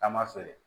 Taama feere